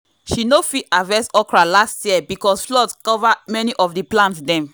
she no fit harvest okra last year because flood cover many of the plant dem.